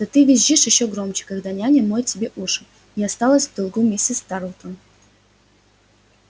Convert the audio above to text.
да ты визжишь ещё громче когда няня моет тебе уши не осталась в долгу миссис тарлтон